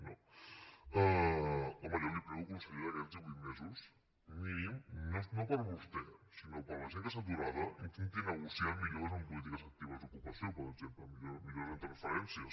home jo li prego consellera que aquests divuit mesos mínim no per a vostè sinó per a la gent que està aturada intenti negociar millores en polítiques actives d’ocupació per exemple millores en transferències